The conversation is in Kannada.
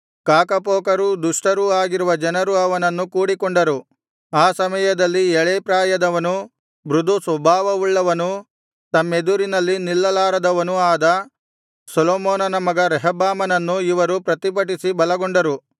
ಕಾಕಪೋಕರೂ ದುಷ್ಟರೂ ಆಗಿರುವ ಜನರು ಅವನನ್ನು ಕೂಡಿಕೊಂಡರು ಆ ಸಮಯದಲ್ಲಿ ಎಳೇಪ್ರಾಯದವನೂ ಮೃದುಸ್ವಭಾವವುಳ್ಳವನೂ ತಮ್ಮೆದುರಿನಲ್ಲಿ ನಿಲ್ಲಲಾರದವನೂ ಆದ ಸೊಲೊಮೋನನ ಮಗ ರೆಹಬ್ಬಾಮನನ್ನು ಇವರು ಪ್ರತಿಭಟಿಸಿ ಬಲಗೊಂಡರು